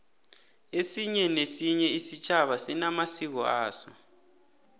esinye nesinye isitjhaba sinamasiko aso